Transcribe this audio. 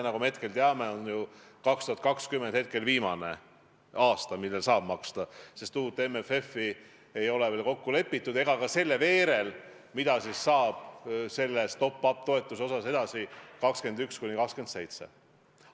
Nagu me hetkel teame, on 2020 viimane aasta, kui neid saab maksta, sest uut MFF-i ei ole veel kokku lepitud ja ei ole teada, mis saab top-up-toetustest edasi aastatel 2021–2027.